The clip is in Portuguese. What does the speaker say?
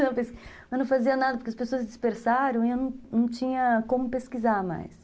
Eu não fazia nada, porque as pessoas dispersaram e eu não tinha como pesquisar mais.